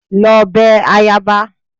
Lọ bẹ ayaba!